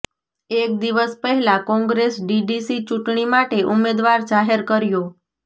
એક દિવસ પહેલાં કોંગ્રેસ ડીડીસી ચૂંટણી માટે ઉમેદવાર જાહેર કર્યો